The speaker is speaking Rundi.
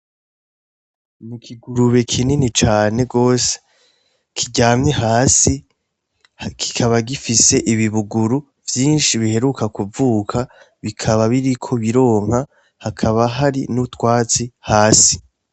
N'ikigurube kinini cane gose, kiryamye hasi, kikaba gifise ibibuguru vyinshi biheruka kuvuka, bikaba biriko bironka ,hakaba hari n'utwatsi hasi.